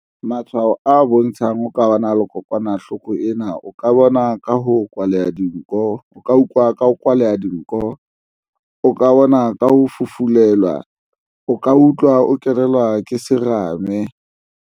Matshwao a bontshang o ka ba na le kokwanahloko ena o ka bona ka ho kwaleha dinko o ka utlwa ka ho kwaleha dinko o ka bona ka ho fufulelwa o ka utlwa o kenelwa ke serame.